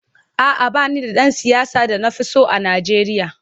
A’a, ba ni da ɗan siyasa da na fi so a Najeriya.